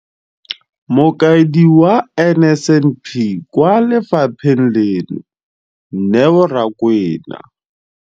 Mokaedi wa NSNP kwa lefapheng leno, Neo Rakwena,